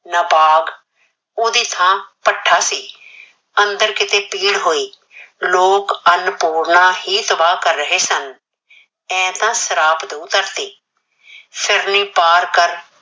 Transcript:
ਨਾ ਬਾਗ, ਓਹ ਦੀ ਥਾਂ ਭੱਠਾ ਸੀ। ਅੰਦਰ ਕਿਤੇ ਪੀਹਣ ਹੋਏ ਲੋਕ ਅੰਨਪੂਰਣਾ ਹੀ ਕਰ ਰਹੇ ਸਨ, ਮੈਂ ਤਾਂ ਸਰਾਪ ਦੂ ਧਰਤੀ। ਫਿਰਨੀ ਪਾਰ ਕਰ